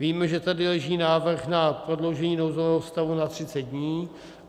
Víme, že tady leží návrh na prodloužení nouzového stavu na 30 dní.